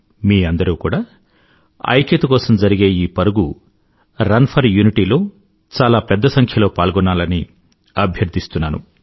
మీ అందరూ కూడా ఐక్యత కోసం జరిగే ఈ పరుగు రన్ ఫోర్ యూనిటీ లో చాలా పెద్ద సంఖ్యలో పాల్గోవాలని అభ్యర్థిస్తున్నాను